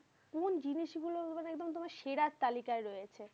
কোন জিনিসগুলো মানে একদম তোমার সেরার তালিকায় রয়েছে?